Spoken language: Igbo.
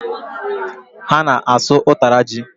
Ha na-asụ ụtara ji